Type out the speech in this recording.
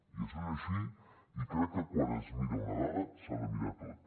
i això és així i crec que quan es mira una dada s’ha de mirar tot